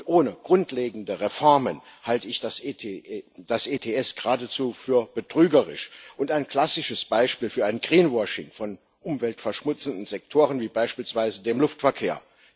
Ohne grundlegende Reformen halte ich das ETS geradezu für betrügerisch und ein klassisches Beispiel für ein greenwashing von umweltverschmutzenden Sektoren wie beispielsweise dem Luftverkehr.